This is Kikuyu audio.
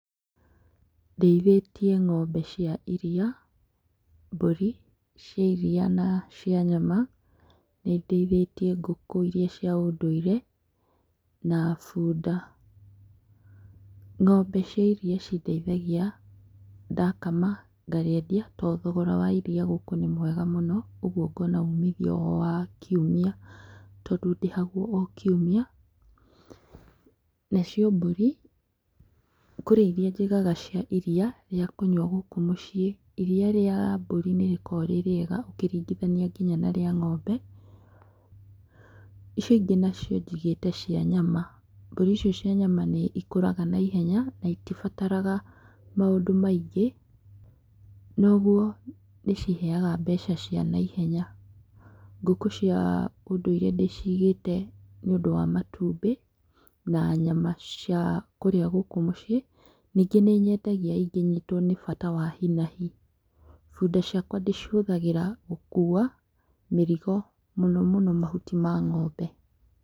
Ndĩithĩtie ng'ombe cia iria, mbũri cia iria na cia nyama, nĩ ndĩithĩtie ngũkũ iria cia ũndũire na bunda, ng'ombe cia iria ci ndeithagia ndakama ngarĩendia tondũ thogora wa iria gũkũ nĩ mwega mũno, ũguo ngona ũmithio wa o kiumia tondũ ndĩhagwo o kiumia, na cio mbũri kũrĩ iria njigaga cia iria rĩa kũnyua gũkũ mũciĩ , iria rĩa mbũri nĩ rĩkoragwo rĩrĩega ũkĩringithania nginya na rĩa ng'ombe, icio ingĩ nacio njigĩte cia nyama, mbũri icio cia nyama nĩ cikũraga na ihenya na ĩgĩbataragwo maũndũ maingĩ na ũguo nĩ ciheaga mbeca cia naihenya, ngũkũ cia ũndũire ndĩcigĩte nĩ ũndũ wa matumbĩ na nyama cia kũrĩa gũkũ mũciĩ ningĩ nĩ nyendagia ingĩnyitwo nĩ bata wa hinahi, bunda ciakwa ndĩcihũthagĩra gũkua mĩrigo mũno mũno mahuti ma ng'ombe.